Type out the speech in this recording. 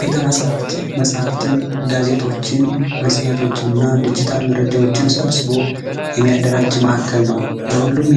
ቤተ መጻህፍት መጽሐፍትን ጋዜጦችን መጽሔቶችና ድርጅታል መረጃዎችን ሰብስቦ የሚያደራጅ ነው ለሁሉም